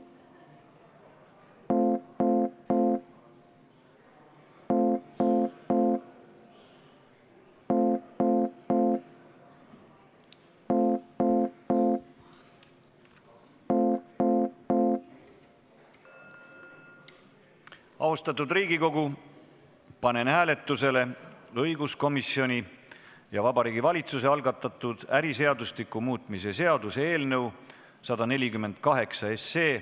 Austatud Riigikogu, panen hääletusele õiguskomisjoni ja Vabariigi Valitsuse algatatud äriseadustiku muutmise seaduse eelnõu 148.